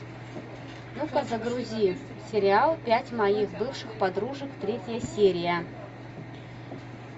ну ка загрузи сериал пять моих бывших подружек третья серия